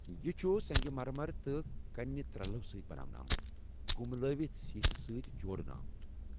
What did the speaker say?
یہ چھ سنٛگہِ مر مر تہٕ کنہِ ترٛلو سۭتۍ بناونہٕ آمُت ، كُملٲوِتھ سیسہٕ سۭتۍ جوڈنہٕ آمُت۔